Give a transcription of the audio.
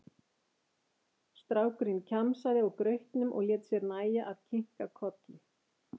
Strákurinn kjamsaði á grautnum og lét sér nægja að kinka kolli.